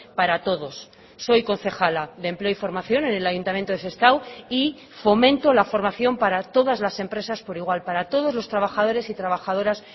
para todos soy concejala de empleo y formación en el ayuntamiento de sestao y fomento la formación para todas las empresas por igual para todos los trabajadores y trabajadoras